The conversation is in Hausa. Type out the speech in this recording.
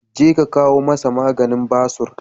Jeka ka kawo masa maganin basur.